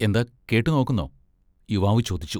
എന്താ കേട്ട് നോക്കുന്നോ? യുവാവ് ചോദിച്ചു.